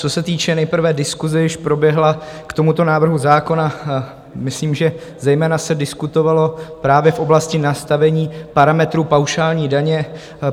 Co se týče nejprve diskuse, jež proběhla k tomuto návrhu zákona, myslím, že zejména se diskutovalo právě v oblasti nastavení parametrů paušální daně.